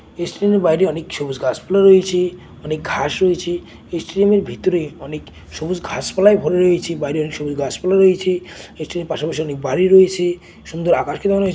এই স্টেডিয়ামের বাইরে অনেক সবুজ গাছপালা রয়েছে অনেক ঘাস রয়েছে। এই স্টেডিয়ামের ভিতরে অনেক সবুজ ঘাসপালায় ভরে রয়েছে। বাইরে অনেক সবুজ গাছপালা রয়েছে। এই স্টেডিয়ামের পাশে পাশে অনেক বাড়ি রয়েছে। সুন্দর আকাশ কি ধরনের --